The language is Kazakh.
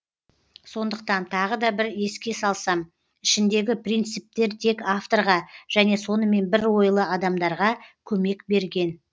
сондықтан тағы да бір еске салсам ішіндегі принциптер тек авторға және сонымен бір ойлы адамдарға көмек берген